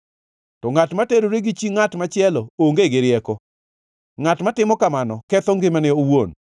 To ngʼat ma terore gi chi ngʼat machielo onge gi rieko, ngʼat matimo kamano ketho ngimane owuon.